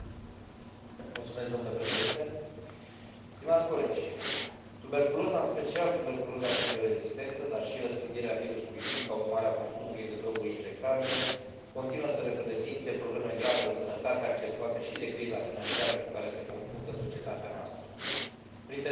Tuberculoza, în special tuberculoza chimio rezistentă, dar și răspândirea virusului HIV ca urmare a consumului de droguri injectabile, continuă să reprezinte probleme grave de sănătate, accentuate și de criza financiară cu care se confruntă societatea noastră, printre statele cu un număr semnificativ de cazuri de tuberculoză aflându se și România.